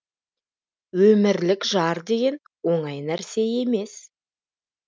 өмірлік жар деген оңай нәрсе емес